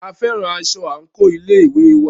A fẹ́ran aṣọ àńkò ilé ìwé wa